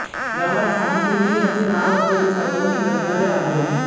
गावात साने गुरुजी यांचे नाव असलेले सार्वजनिक ग्रंथालय आहे